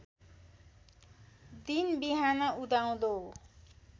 दिन बिहान उदाउँदो